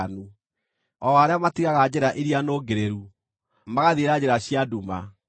o arĩa matigaga njĩra iria nũngĩrĩru, magathiĩra njĩra cia nduma,